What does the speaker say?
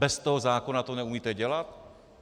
Bez toho zákona to neumíte dělat?